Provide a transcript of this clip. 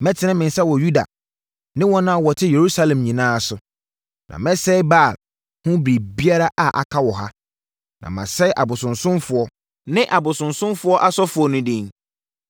“Mɛtene me nsa wɔ Yuda ne wɔn a wɔte Yerusalem nyinaa so; na mɛsɛe Baal ho biribiara a aka wɔ ha, na masɛe abosonsomfoɔ ne abosomfoɔ asɔfoɔ no din